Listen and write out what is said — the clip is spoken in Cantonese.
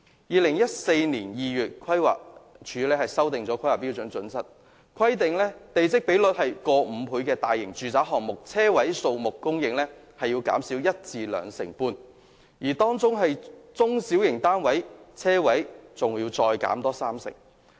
2014年2月規劃署修訂了《規劃標準》，規定地積比率逾5倍的大型住宅項目，車位數目供應需要減少一至兩成半，而中型的住宅項目，車位數目更要減少三成。